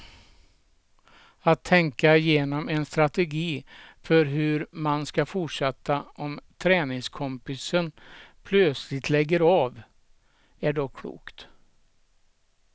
Att tänka igenom en strategi för hur man ska fortsätta om träningskompisen plötsligt lägger av, är dock klokt.